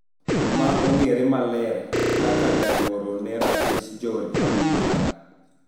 Ma ong`ere maler kaka jagore ne ratich jo Republican